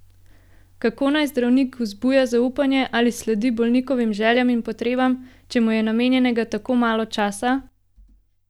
Kako naj zdravnik vzbuja zaupanje ali sledi bolnikovim željam in potrebam, če mu je namenjenega tako malo časa?